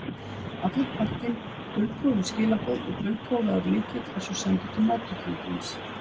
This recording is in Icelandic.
Allur pakkinn, dulkóðuð skilaboð og dulkóðaður lykill, er svo sendur til móttakandans.